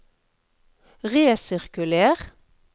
resirkuler